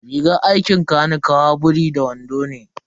Rigar aikin kanikawa biri da wando ne.